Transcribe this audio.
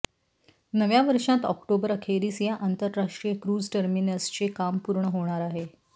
नव्या वर्षांत ऑक्टोबर अखेरीस या आंतरराष्ट्रीय क्रूझ टर्मिनसचे काम पूर्ण होणार आहे